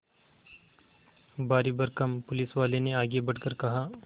भारीभरकम पुलिसवाले ने आगे बढ़कर कहा